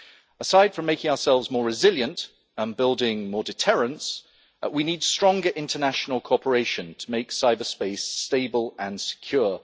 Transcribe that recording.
Aside from making ourselves more resilient and building more deterrents, we need stronger international cooperation to make cyberspace stable and secure.